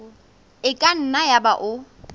e ka nna yaba o